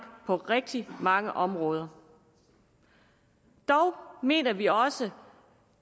på rigtig mange områder dog mener vi også